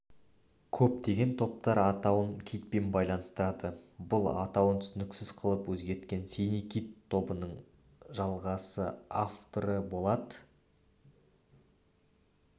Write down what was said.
көптеген топтар атауын китпен байланыстырады бұл атауын түсініксіз қылып өзгерткен синий кит тобының жалғасы авторы болат